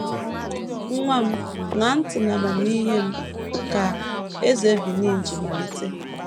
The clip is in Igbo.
“ Nwa m, ṅaa ntị n’amamihe m, ” ka eze Benin ji malite.